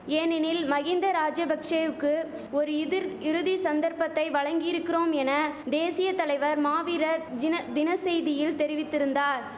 ஏனெனில் மகிந்த ராஜபக்ஷெவுக்கு ஒரு இதிர் இறுதி சந்தர்ப்பத்தை வழங்கியிருக்கிறோம் என தேசிய தலைவர் மாவீரர் ஜின தின செய்தியில் தெரிவித்திருந்தார்